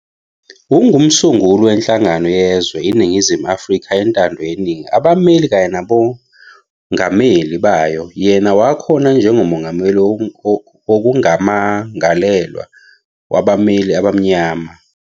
Ungumsunguli wenhlangano yezwe Iningizimu Afrika wentando yeningi abameli kanye nabongameli bayo yena wakhona njengo mongameli wokumangalelwa wabameli abamnyama.